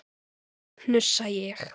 hnussa ég.